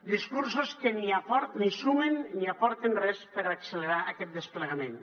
discursos que ni sumen ni aporten res per accelerar aquest desplegament